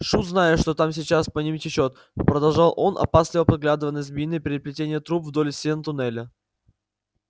шут знает что там сейчас по ним течёт продолжал он опасливо поглядывая на змеиные переплетения труб вдоль стен туннеля